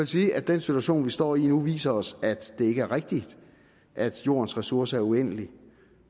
sige at den situation vi står i nu viser os at det ikke er rigtigt at jordens ressourcer er uendelige